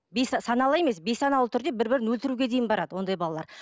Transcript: саналы емес бейсаналы түрде бір бірін өлтіруге дейін барады ондай балалар